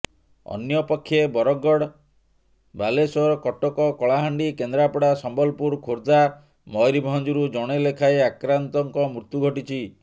ଅନ୍ୟପକ୍ଷେ ବରଗଡ ବାଲେଶ୍ୱର କଟକ କଳାହାଣ୍ଡି କେନ୍ଦ୍ରାପଡା ସମ୍ବଲପୁର ଖୋର୍ଦ୍ଧା ମୟୂରଭଞ୍ଜରୁ ଜଣେ ଲେଖାଏଁ ଆକ୍ରାନ୍ତଙ୍କ ମୃତ୍ୟୁ ଘଟିଛି